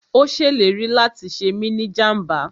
Ó ṣèlérí láti ṣe mí ni jàmbá